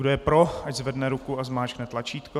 Kdo je pro, ať zvedne ruku a zmáčkne tlačítko.